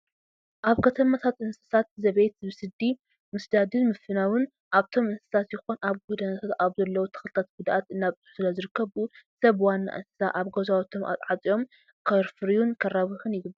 ኣብ ከተማታት እንስሳት ዘቤት ብስዲ ምስዳድን ምፍናውን ኣብቶም እንስሳት ይኹን ኣብ ጎደናታት ኣብ ዘለው ተክልታት ጉድኣት እናብፅሑ ስለዝርከቡ ሰብ ዋና እንስሳ ኣብ ገዛውቶም ኣፅዮም ከፍርዩን ከራብሑን ይግባእ።